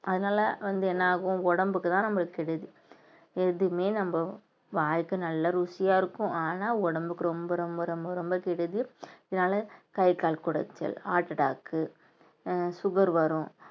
அதனால வந்து என்னாகும் உடம்புக்குதான் நம்மளுக்கு கெடுதி எதுவுமே நம்ம வாய்க்கு நல்லா ருசியா இருக்கும் ஆனா உடம்புக்கு ரொம்ப ரொம்ப ரொம்ப ரொம்ப கெடுதி கை கால் குடைச்சல் heart attack உ அஹ் சுகர் வரும்